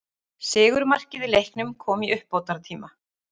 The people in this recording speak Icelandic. Sigurmarkið í leiknum kom í uppbótartíma.